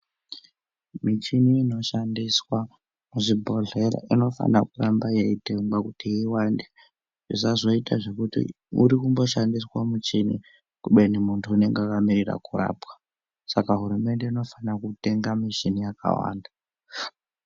Michini inoshandiswa muzvibhedhleya inofanira kuramba yeitengwa kuti iwande zvazvoita zvekuti murikumboshandirwe muchini kubeni muntu unenge akamirira kurapwa, saka hurumende inofanira kutenga michini yakawanda.